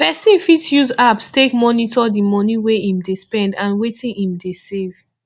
person fit use apps take monitor di money wey im dey spend and wetin im dey save